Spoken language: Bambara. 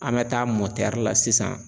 An bɛ taa la sisan